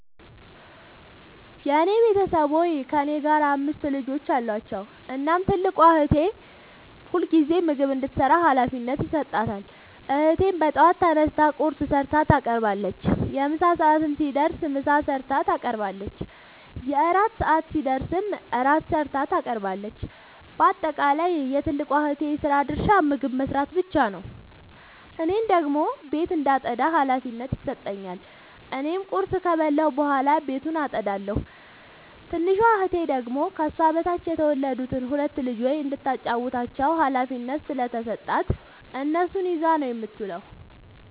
የኔ ቤተሠቦይ ከእኔ ጋር አምስት ልጆች አሏቸዉ። እናም ትልቋን እህቴ ሁልጊዜም ምግብ እንድትሰራ ሀላፊነት ይሠጣታል። እህቴም በጠዋት ተነስታ ቁርስ ሠርታ ታቀርባለች። የምሣ ሰዓት ሲደርስም ምሳ ሠርታ ታቀርባለች። የእራት ሰዓት ሲደርስም ራት ሠርታ ታቀርባለች። ባጠቃለይ የትልቋ እህቴ የስራ ድርሻ ምግብ መስራት ብቻ ነዉ። እኔን ደግሞ ቤት እንዳጠዳ ሀላፊነት ይሠጠኛል። እኔም ቁርስ ከበላሁ በኃላ ቤቱን አጠዳለሁ። ትንሿ እህቴ ደግሞ ከሷ በታች የተወለዱትን ሁለት ልጆይ እንዳታጫዉታቸዉ ሀላፊነት ስለተሠጣት እነሱን ይዛ ነዉ የምትዉለዉ።